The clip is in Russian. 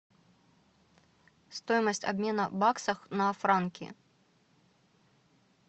стоимость обмена баксов на франки